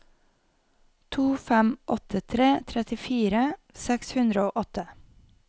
to fem åtte tre trettifire seks hundre og åtte